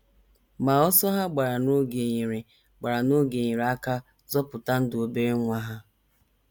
Ma ọsọ ha gbara n’oge nyere gbara n’oge nyere aka zọpụta ndụ obere nwa ha.